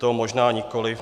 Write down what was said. To možná nikoliv.